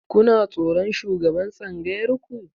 Kuna tsoron shugaban tsangayar ku?